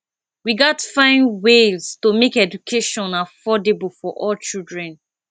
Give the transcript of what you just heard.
we gats find ways to make education affordable for all children